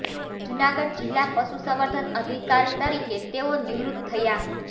જૂનાગઢ જીલ્લા પશુસંવર્ધન અધિકારી તરીકે તેઓ નિવૃત થયા